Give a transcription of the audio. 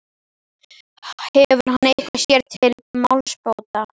Hefur hann eitthvað sér til málsbóta?